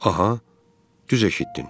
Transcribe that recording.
Aha, düz eşitdin.